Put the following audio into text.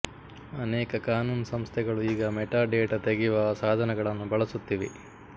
ಅನೇಕ ಕಾನೂನು ಸಂಸ್ಥೆಗಳು ಈಗ ಮೆಟಾಡೇಟಾ ತೆಗೆಯುವ ಸಾಧನಗಳನ್ನು ಬಳಸುತ್ತಿವೆ